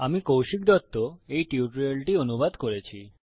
আমি কৌশিক দত্ত এই টিউটোরিয়ালটি অনুবাদ করেছি